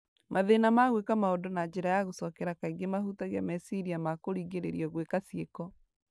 Mathĩna ma gwĩka maũndũ na njĩra ya gũcokera kaingĩ mahutagia meciria ma kũringĩrĩrio gwĩka cĩiko